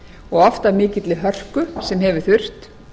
og oft af mikilli hörku sem hefur þurft